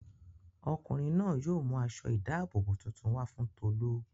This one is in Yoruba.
Ọkùnrin náà yóò mú aṣọ-ìdáàbòbò tuntun wá fún Tolú.